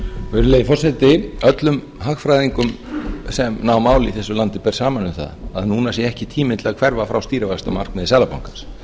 virðulegi forseti öllum hagfræðingum sem ná máli í þessu landi ber saman um að núna sé ekki tíminn til að hverfa frá stýrivaxtamarkmiði seðlabankans